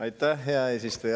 Aitäh, hea eesistuja!